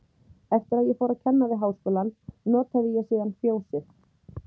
Eftir að ég fór að kenna við Háskólann, notaði ég síðan Fjósið